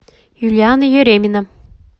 юлиана еремина